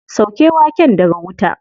Sauke waken daga wuta.